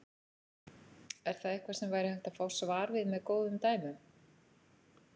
Er það eitthvað sem væri hægt að fá svar við með góðum dæmum.